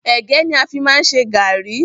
Ẹ̀gẹ́ ni a fi máa ń ṣe gàárì.